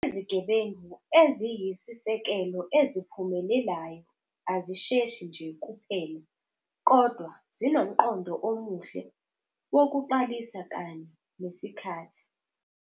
Izigebengu eziyisisekelo eziphumelelayo azisheshi nje kuphela kodwa zinomqondo omuhle wokuqalisa kanye nesikhathi.